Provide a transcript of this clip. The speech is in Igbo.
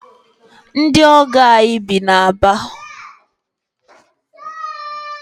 Ndị ọgọ anyị bi na Aba.